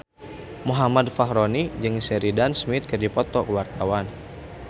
Muhammad Fachroni jeung Sheridan Smith keur dipoto ku wartawan